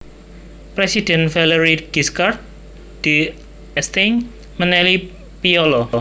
Presidhèn Valéry Giscard d Estaing menehi piyala